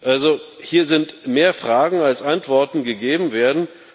Also, hier sind mehr Fragen, als Antworten gegeben werden.